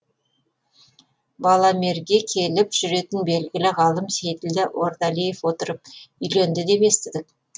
баламерге келіп жүретін белгілі ғалым сейділдә ордалиев отырып үйленді деп естідік